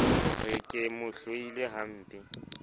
re ke mo hloile hampe